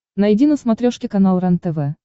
найди на смотрешке канал рентв